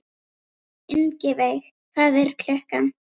Ingiveig, hvað er klukkan?